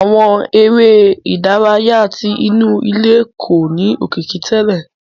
Àwọn eré ìdárayá tí inú ilé kò ní òkìkí tẹlẹ.